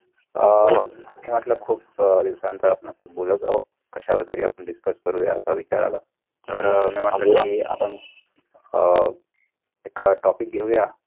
मी म्हटलं खूप दिवसांच आपण असच बोलत आहो कशावर तरी आपण discuss करूया असा विचार आला तर मी आपण अह एक topic घेऊया